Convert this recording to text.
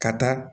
Ka taa